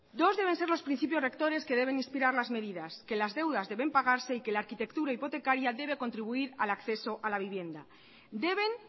dos deben ser los principios rectores que deben inspirar las medidas que las deudas deben pagarse y que la arquitectura hipotecaria debe contribuir al acceso a la vivienda deben